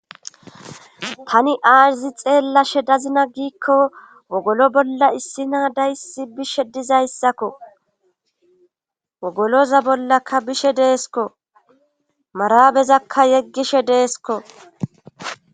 tani aaizi xeella she dazina giikko wogolo bolla issina dayssi bishe dizayssakko wogoloza bollakka bishe deesko marabezakka yeggishe deesko